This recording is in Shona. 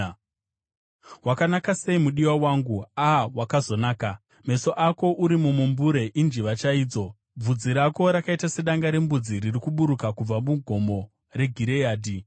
Wakanaka sei, mudiwa wangu! A, wakazonaka! Meso ako uri mumumbure injiva chaidzo. Bvudzi rako rakaita sedanga rembudzi riri kuburuka kubva muGomo reGireadhi.